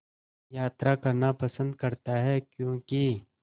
यात्रा करना पसंद करता है क्यों कि